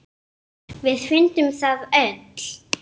Jörðin mjúk.